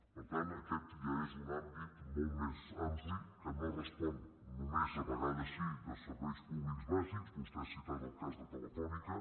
per tant aquest ja és un àmbit molt més ampli que no respon només a vegades sí a serveis públics bàsics vostè ha citat el cas de telefònica